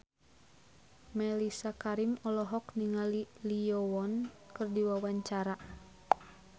Mellisa Karim olohok ningali Lee Yo Won keur diwawancara